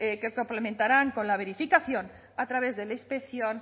que complementarán con la verificación a través de la inspección